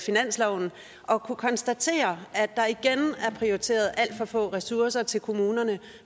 finansloven og kunne konstatere at der igen er prioriteret alt for få ressourcer til kommunerne